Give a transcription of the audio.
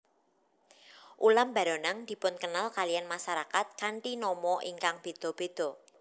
Ulam baronang dipunkenal kaliyan masarakat kanthi nama ingkang béda béda